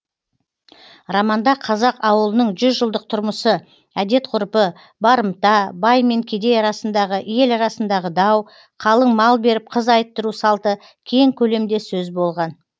романда қазақ ауылының жүз жылдық тұрмысы әдет ғұрпы барымта бай мен кедей арасындағы ел арасындағы дау қалың мал беріп қыз айттыру салты кең көлемде сөз болған